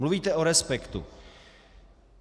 Mluvíte o respektu.